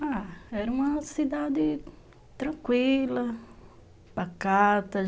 Ah, era uma cidade tranquila, pacata.